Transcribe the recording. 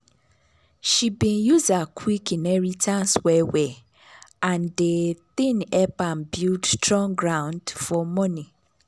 she been use her quick inheritance well well and de thing help am build strong ground for money.